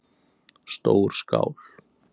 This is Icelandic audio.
Stór skál